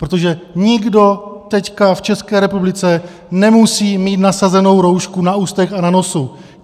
Protože nikdo teď v České republice nemusí mít nasazenou roušku na ústech a na nose.